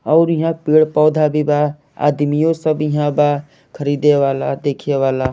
और यहां पेड़ पौधा भी बा आदमियों सब यहां बा खरीदे वाला देखे वाला--